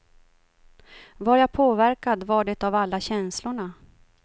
Var jag påverkad var det av alla känslorna.